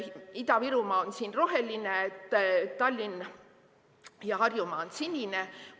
Ida-Virumaa on siin roheline, Tallinn ja Harjumaa on sinised.